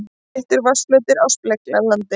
Sléttur vatnsflötur er speglandi.